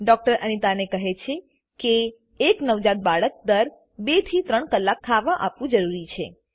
doctor Anita કહે છે કે એક નવજાત બાળક દર 2 થી 3 કલાક ખાવા આપવું જરૂરી છે